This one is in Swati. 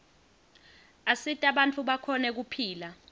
asita bantfu bakhone kephla